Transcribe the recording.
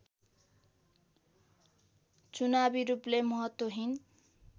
चुनावी रूपले महत्त्वहीन